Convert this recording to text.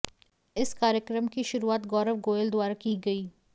इस कार्यक्रम की शुरुआत गौरव गोयल द्वारा की गई